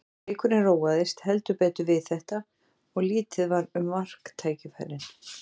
Leikurinn róaðist heldur betur við þetta og lítið var um marktækifærin.